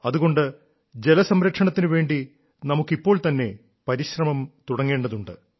അതുകൊണ്ട് ജലസംരക്ഷണത്തിനുവേണ്ടി നമുക്ക് ഇപ്പോൾ തന്നെ പരിശ്രമം തുടങ്ങേണ്ടതുണ്ട്